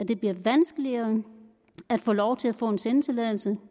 det bliver vanskeligere at få lov til at få en sendetilladelse og